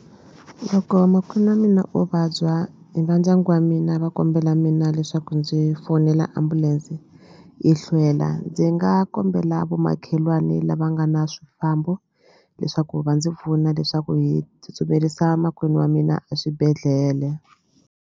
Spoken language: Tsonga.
Loko makwenu wa mina o vabya va ndyangu wa mina va kombela mina leswaku ndzi fonela ambulense yi hlwela ndzi nga kombela vomakhelwani lava nga na swifambo leswaku va ndzi pfuna leswaku hi tsutsumerisa makwenu wa mina a swibedhlele